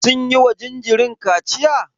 Sun yiwa jinjirin kaciya?